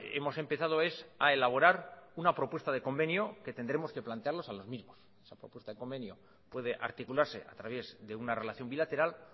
hemos empezado es a elaborar una propuesta de convenio que tendremos que plantearlos a los mismos esa propuesta de convenio puede articularse a través de una relación bilateral